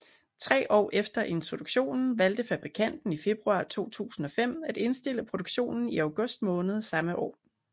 Tre år efter introduktionen valgte fabrikanten i februar 2005 at indstille produktionen i august måned samme år